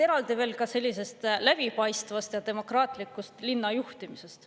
Eraldi veel ka sellisest läbipaistvast ja demokraatlikust linna juhtimisest.